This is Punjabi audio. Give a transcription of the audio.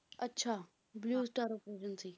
ਅੱਛਾ blue star ਸੀ